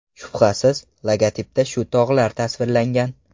Shubhasiz, logotipda shu tog‘lar tasvirlangan.